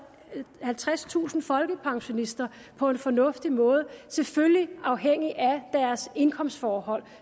og halvtredstusind folkepensionister på en fornuftig måde selvfølgelig afhængig af deres indkomstforhold